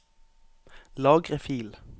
Lagre fil